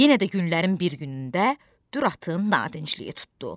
Yenə də günlərin bir günündə Dür atın nadincliyi tutdu.